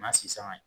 N'a sisanga